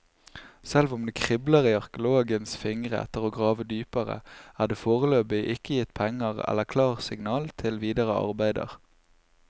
Selv om det kribler i arkeologenes fingre etter å grave dypere, er det foreløpig ikke gitt penger eller klarsignal til videre arbeider.